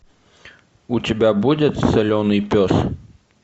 у тебя будет соленый пес